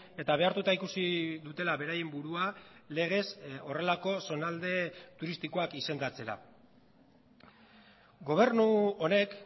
eta behartuta ikusi dutela beraien burua legez horrelako zonalde turistikoak izendatzera gobernu honek